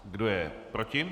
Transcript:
Kdo je proti?